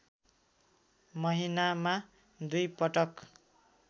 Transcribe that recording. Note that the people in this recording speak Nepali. महिनामा दुई पटक